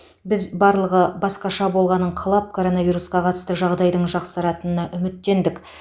біз барлығы басқаша болғанын қалап коронавирусқа қатысты жағдайдың жақсаратынына үміттендік